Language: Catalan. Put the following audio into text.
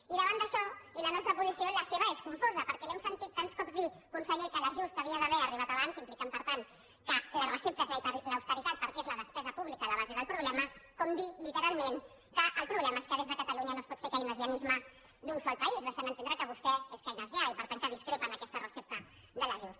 i davant d’això i la nostra posició la seva és confosa perquè l’hem sentit tants cops dir conseller que l’ajust hauria d’haver arribat abans implicant per tant que la recepta és l’austeritat perquè és la despesa pública la base del problema com dir literalment que el problema és que des de catalunya no es pot fer keynesianisme d’un sol país deixant entendre que vostè és keynesià i per tant que discrepa en aquesta recepta de l’ajust